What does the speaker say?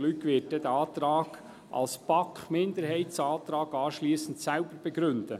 Luc Mentha wird den Antrag als BaK-Minderheitsantrag anschliessend selbst begründen.